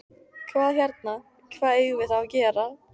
Hvað hérna. hvað eigum við þá að gera?